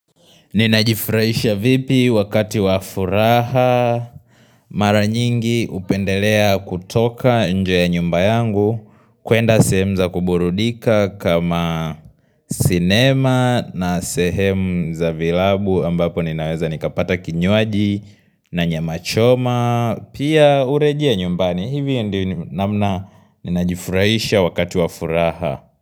Ninajifurahisha vipi wakati wa furaha mara nyingi hupendelea kutoka nje ya nyumba yangu kuenda sehemu za kuburudika kama sinema na sehemu za vilabu ambapo ninaweza nikapata kinywaji na nyama choma Pia urejea nyumbani hivi ndi namna ninajifurahisha wakati wafuraha.